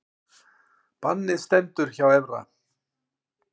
Bannið stendur hjá Evra